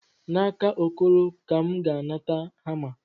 N'aka Okoro ka M ga-anata hama.